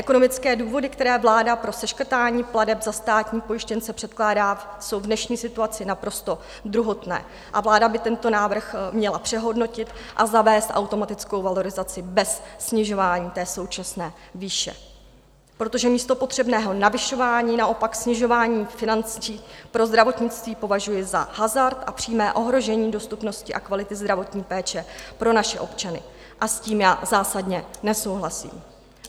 Ekonomické důvody, které vláda pro seškrtání plateb za státní pojištěnce předkládá, jsou v dnešní situaci naprosto druhotné a vláda by tento návrh měla přehodnotit a zavést automatickou valorizaci bez snižování té současné výše, protože místo potřebného navyšování naopak snižování financí pro zdravotnictví považuji za hazard a přímé ohrožení dostupnosti a kvality zdravotní péče pro naše občany a s tím já zásadně nesouhlasím.